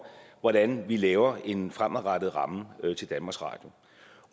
hvordan vi laver en fremadrettet ramme til danmarks radio